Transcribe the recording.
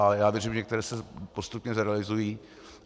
A já věřím, že některé se postupně zrealizují.